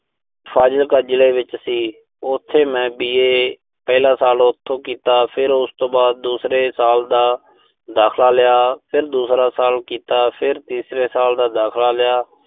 ਫਾਜ਼ਿਲਕਾ ਜ਼ਿਲ੍ਹੇ ਵਿੱਚ ਸੀ। ਉਥੇ ਮੈਂ B. A ਪਹਿਲਾ ਸਾਲ ਉਥੋਂ ਕੀਤਾ। ਫਿਰ ਉਸ ਤੋਂ ਬਾਅਦ ਦੂਸਰੇ ਸਾਲ ਦਾ, ਦਾਖਲਾ ਲਿਆ। ਫਿਰ ਦੂਸਰਾ ਸਾਲ ਕੀਤਾ, ਫਿਰ ਤੀਸਰੇ ਸਾਲ ਦਾ ਦਾਖਲਾ ਲਿਆ